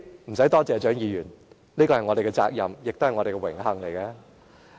無須多謝我，蔣議員，這是我們的責任，亦是我們的榮幸。